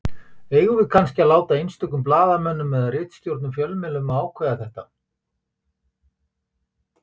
Eigum við kannski að láta einstökum blaðamönnum eða ritstjórnum fjölmiðla að ákveða þetta?